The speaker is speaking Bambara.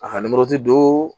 A ka don